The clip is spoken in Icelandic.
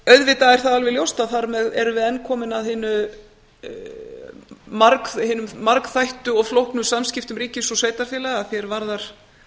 auðvitað er það alveg ljóst að þar með erum við enn komin að hinum margþættu og flóknu samskiptum ríkis og sveitarfélaga að því er varðar